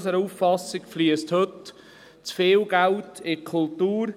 Unserer Auffassung nach fliesst heute zu viel Geld in die Kultur.